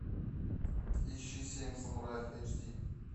ищи семь самураев эйч ди